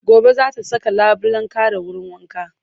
Gobe za ta saka labulen kare wurin wanka